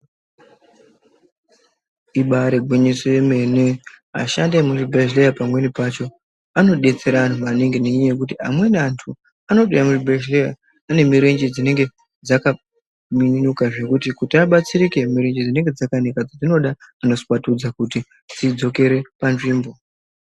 Ibari gwinyiso remene vashandi vemuzvibhedhlera pamweni pacho anodetsera antu maningi nekuti amweni antu anotouya muzvibhedhlera ane mirenje dzinenge dzakaminuka zvekuti kuti abatsirike mirenje dzinenge dzakaminyuka dzinoda anoswatudza kuti adzokere panzvimbo.